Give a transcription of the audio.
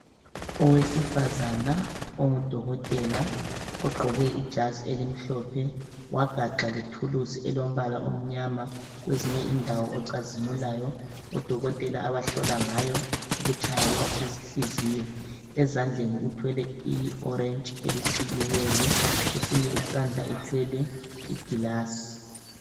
Owesifazana ongudokotela ogqoke ijazi elimhlophe wagaxa lethulusi elombala omnyama kwezinye indawo ocazimulayo. Odokotela abahlola ngayo ukutshaya kwenhliziyo. Ezandleni uthwele iorange elisikiweyo, kwesinye isandla uthwele iglass.